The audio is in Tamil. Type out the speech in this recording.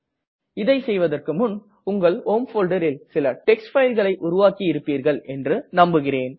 இதை செய்வதற்கு முன் உங்கள் ஹோம் folderல் சில டெக்ஸ்ட் fileகளை உருவாக்கி இருப்பீர்கள் என்று நம்புகிறேன்